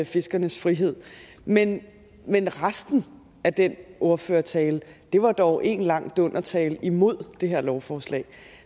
fiskernes frihed men men resten af den ordførertale var dog en lang dundertale imod det her lovforslag